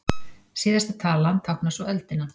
Síðasta talan táknar svo öldina.